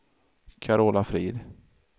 Carola Frid